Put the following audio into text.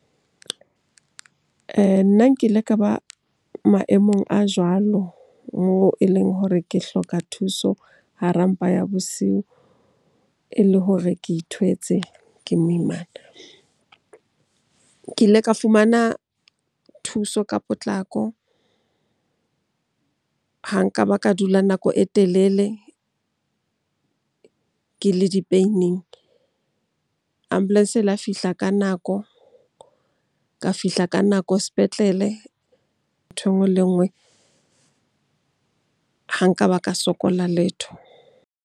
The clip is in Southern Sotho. Nna nkile ka ba maemong a jwalo moo e leng hore ke hloka thuso hara mpa ya bosiu, e le hore ke itholetse ke moimana. Ke ile ka fumana thuso ka potlako, ha nka ba ka dula nako e telele ke le di-paining. Ambulance e la fihla ka nako, ka fihla ka nako sepetlele. Nthwe enngwe le enngwe ha nka ba ka sokola letho.